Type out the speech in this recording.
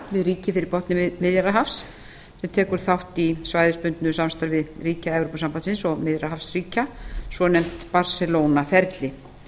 við ríki fyrir botni miðjarðarhafs sem tekur þátt í svæðisbundnu samstarfi ríkja evrópusambandsins og miðjarðarhafsríkja svonefnt barcelona ferli